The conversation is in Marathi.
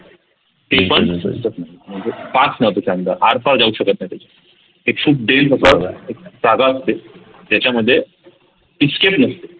आरपार जाऊ शकत नाही ते जागा आहे एक जागा असते त्याच्यामध्ये escape नसते